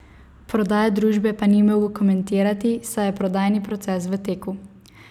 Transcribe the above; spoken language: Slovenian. Prodaje družbe pa ni mogel komentirati, saj je prodajni proces v teku.